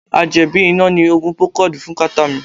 A jẹ́ bí iná ni Oogun procold fún kàtá mi.